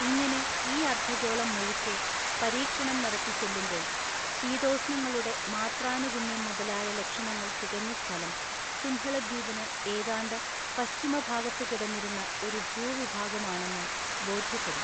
ഇങ്ങനെ ഈ അർദ്ധഗോളം മുഴുക്കെ പരീക്ഷണം നടത്തി ചെല്ലുമ്പോൾ ശീതോഷ്ണങ്ങളുടെ മാത്രാനുഗുണ്യം മുതലായ ലക്ഷണങ്ങൾ തികഞ്ഞ സ്ഥലം സിംഹളദ്വീപിനു ഏതാണ്ടു പശ്ചിമഭാഗത്തു കിടന്നിരുന്ന ഒരു ഭൂവിഭാഗമാണെന്നു ബോദ്ധ്യപ്പെടും.